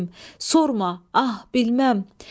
Sorma, ah, bilməm!